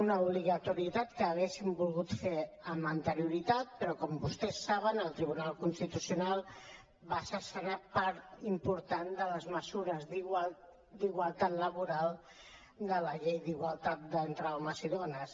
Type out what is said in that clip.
una obligatorietat que hauríem volgut fer amb anterioritat però com vostès saben el tribunal constitucional va escurçar part important de les mesures d’igualtat laboral de la llei d’igualtat entre homes i dones